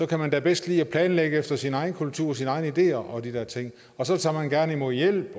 kan man da bedst lide at planlægge efter sin egen kultur og sine egne ideer og de der ting og så tager man gerne imod hjælp